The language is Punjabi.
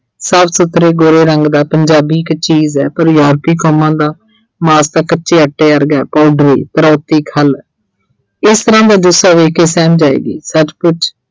ਸਾਫ਼ ਸੁਥਰੇ ਗੋਰੇ ਰੰਗ ਦਾ ਪੰਜਾਬੀ ਇੱਕ ਚੀਜ਼ ਆ ਪਰ ਕੌਮਾਂ ਦਾ ਮਾਸ ਤਾਂ ਕੱਚੇ ਆਟੇ ਵਰਗੈ ਖੱਲ, ਇਸ ਤਰ੍ਹਾਂ ਦਾ ਜੁੱਸਾ ਵੀ ਕਿਸੇ ਨੂੰ ਸੱਚਮੁੱਚ